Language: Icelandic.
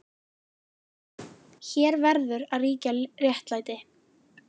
Hér verður líka að ríkja réttlæti.